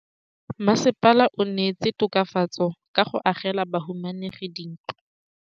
Mmasepala o neetse tokafatsô ka go agela bahumanegi dintlo.